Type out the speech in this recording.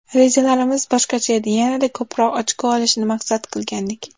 Rejalarimiz boshqacha edi, yanada ko‘proq ochko olishni maqsad qilgandik.